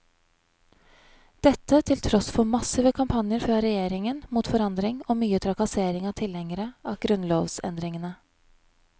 Dette til tross for massive kampanjer fra regjeringen mot forandring og mye trakassering av tilhengerne av grunnlovsendringene.